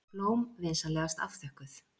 Blóm vinsamlegast afþökkuð.